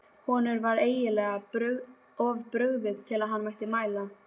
Honum var eiginlega of brugðið til að hann mætti mæla.